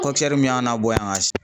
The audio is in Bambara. min y'an labɔ yan ka